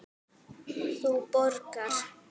Þú borgar.